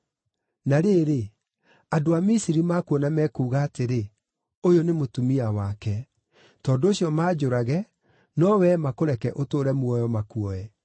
Na rĩrĩ, andũ a Misiri makuona mekuuga atĩrĩ, ‘Ũyũ nĩ mũtumia wake,’ tondũ ũcio manjũrage no wee makũreke ũtũũre muoyo, makuoe.